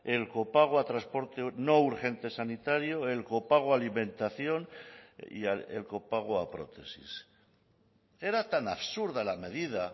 el copago a transporte no urgente sanitario el copago alimentación y el copago a prótesis era tan absurda la medida